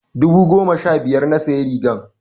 I bought the shirt fifteen thousand naira.